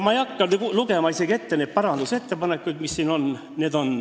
Ma ei hakka ette lugema neid parandusettepanekuid, mis siin on.